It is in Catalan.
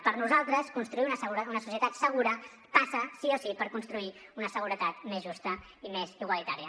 per nosaltres construir una societat segura passa sí o sí per construir una seguretat més justa i més igualitària